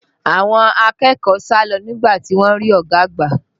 Àwọn akẹ́kọ̀ọ́ sá lọ nígbà tí wọ́n rí ọ̀gá àgbà